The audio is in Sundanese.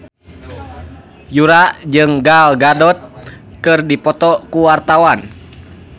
Yura jeung Gal Gadot keur dipoto ku wartawan